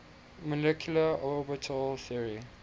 molecular orbital theory